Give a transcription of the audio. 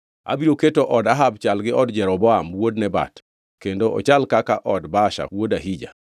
Abiro keto od Ahab chal gi od Jeroboam wuod Nebat kendo ochal kaka od Baasha wuod Ahija.